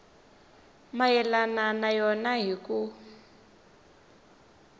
mayelana na yona hi ku